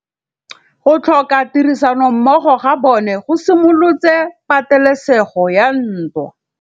Go tlhoka tirsanommogo ga bone go simolotse patêlêsêgô ya ntwa.